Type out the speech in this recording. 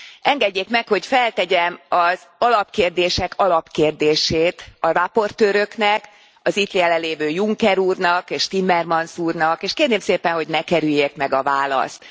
Engedjék meg, hogy feltegyem az alapkérdések alapkérdését a rapportőröknek, az itt jelenlévő Juncker úrnak és Timmermans úrnak, és kérném szépen, hogy ne kerüljék meg a választ.